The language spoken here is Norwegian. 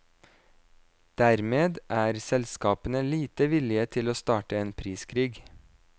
Dermed er selskapene lite villige til å starte en priskrig.